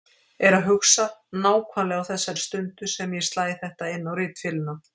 Er að hugsa, nákvæmlega á þessari stundu sem ég slæ þetta inn á ritvélina